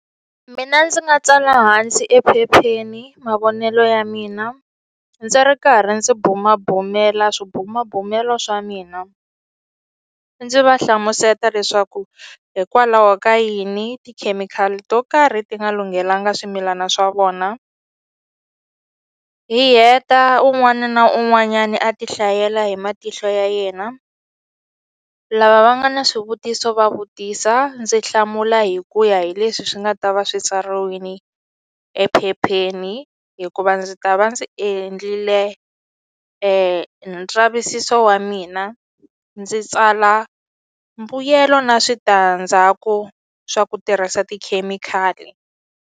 Mina ndzi nga tsala hansi ephepheni mavonelo ya mina ndzi ri karhi ndzi bumabumela swibumabumelo swa mina ndzi va hlamuseta leswaku hikwalaho ka yini tikhemikhali to karhi ti nga lunghelanga swimilana swa vona hi heta un'wani na un'wanyani a ti hlayela hi matihlo ya yena lava va nga na swivutiso va vutisa ndzi hlamula hi ku ya hi leswi swi nga ta va swi tsariwini ephepheni hikuva ndzi ta va ndzi endlile e ndzavisiso wa mina ndzi tsala mbuyelo na switandzhaku swa ku tirhisa tikhemikhali.